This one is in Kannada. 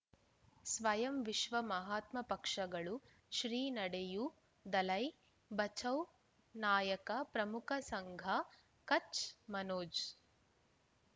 ಸ್ವಯಂ ವಿಶ್ವ ಮಹಾತ್ಮ ಪಕ್ಷಗಳು ಶ್ರೀ ನಡೆಯೂ ದಲೈ ಬಚೌ ನಾಯಕ ಪ್ರಮುಖ ಸಂಘ ಕಚ್ ಮನೋಜ್